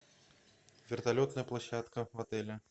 вертолетная площадка в отеле